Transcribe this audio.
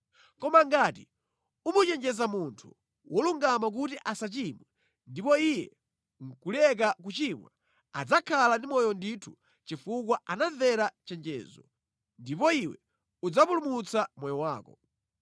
Koma ngati umuchenjeza munthu wolungama kuti asachimwe ndipo iye nʼkuleka kuchimwa adzakhala ndi moyo ndithu chifukwa anamvera chenjezo, ndipo iwe udzapulumutsa moyo wako.”